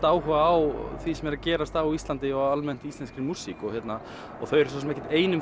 áhuga á því sem er að gerast á Íslandi og íslenskri músík þau eru ekki ein um